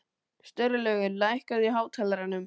Sturlaugur, lækkaðu í hátalaranum.